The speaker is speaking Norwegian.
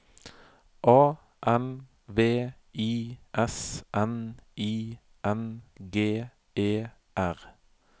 A N V I S N I N G E R